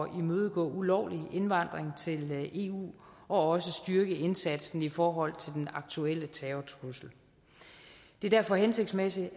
imødegå ulovlig indvandring til eu og også styrke indsatsen i forhold til den aktuelle terrortrussel det er derfor hensigtsmæssigt